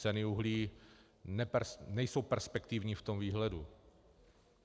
Ceny uhlí nejsou perspektivní v tom výhledu.